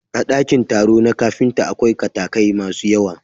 A ɗakin taro na kafinta, akwai katakai masu yawa.